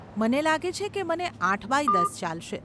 મને લાગે છે કે મને આઠ બાય દસ ચાલશે.